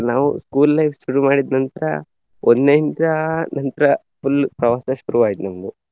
ನಾವು school life ಶುರು ಮಾಡಿದ್ ನಂತ್ರ ಒಂದ್ನೆಯಿಂದ ನಂತ್ರ full ಪ್ರವಾಸ ಶುರುವಾಯ್ತು ನಮ್ದು.